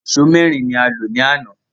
Ẹ̀sọ́ mẹ́rin ni a lò ní àná